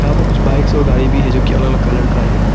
यहां पे कुछ बाइक्स और गाड़ी भी है जोकि अलग अलग कलर का है।